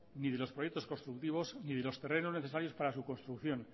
ni de los proyectos constructivos ni de los terrenos necesarios para su construcción